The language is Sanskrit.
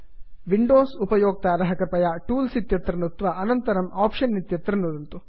विंडोस् उपयोक्ताराः कृपया टूल्स् टूल्स् इत्यत्र नुत्त्वा अनन्तरं आप्शन्स् आप्षन् इत्यत्र नुदन्तु